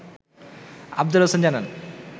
আফজাল হোসেন জানান